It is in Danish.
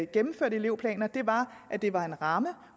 gennemførte elevplaner var at det var en ramme